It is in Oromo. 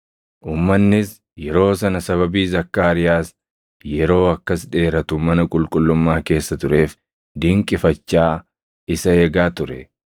Uummannis yeroo sana sababii Zakkaariyaas yeroo akkas dheeratu mana qulqullummaa keessa tureef dinqifachaa isa eegaa ture.